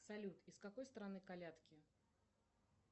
салют из какой страны колядки